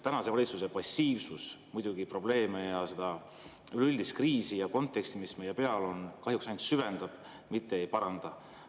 Tänase valitsuse passiivsus muidugi probleeme ja seda üldist kriisi ja konteksti, mis meil on, kahjuks ainult süvendab, mitte ei paranda.